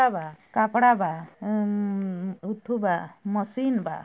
लड़का बा कपड़ा बा म म म उठू बा मशीन बा।